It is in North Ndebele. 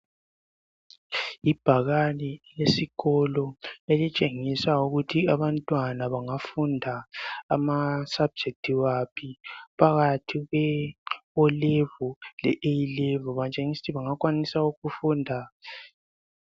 Ibhakane esikolo elitshengisa ukuthi abantwana bangafunda ama subject waphi phakathi kwe o'level le A'level batshengisa ukuthi bangakwanisa ukufunda.